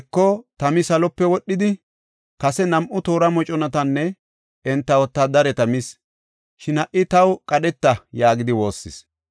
Heko, tami salope wodhidi, kase nam7u toora moconatanne enta wotaadareta mis. Shin ha77i taw qadheta!” yaagidi woossis.